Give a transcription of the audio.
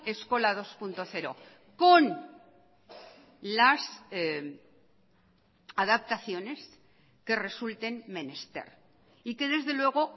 eskola dos punto cero con las adaptaciones que resulten menester y que desde luego